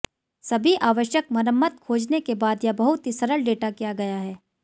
सभी आवश्यक मरम्मत खोजने के बाद यह बहुत ही सरल डेटा किया गया है